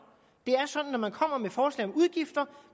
det er sådan at når man kommer med forslag om udgifter